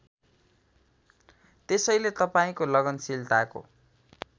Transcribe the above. त्यसैले तपाईँको लगनशीलताको